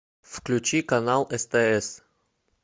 включи канал стс